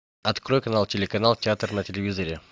открой канал телеканал театр на телевизоре